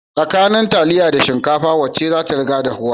Da taliya da shikafa wacce zata riga dahuwa